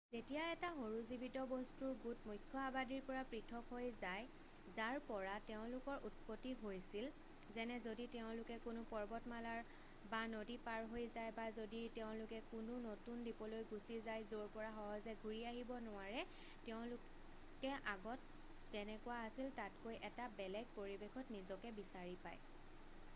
যেতিয়া এটা সৰু জীৱিত বস্তুৰ গোট এটা সৰু আবাদী মুখ্য আবাদীৰ পৰা পৃথক হৈ যায় যাৰ পৰা তেওঁলোকৰ উৎপত্তি হৈছিল যেনে যদি তেওঁলোকে কোনো পৰ্বতমালা বা নদী পাৰ হৈ যায় বা যদি তেওঁলোকে কোনো নতুন দ্বীপলৈ গুছি যায় য'ৰ পৰা সহজে ঘুৰি আহিব নোৱাৰে তেওঁলোকে আগত যেনেকুৱা আছিল তাতকৈ এটা বেলেগ পৰিবেশত নিজকে বিচাৰি পাই।